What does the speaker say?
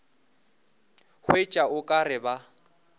hwetša o ka re ba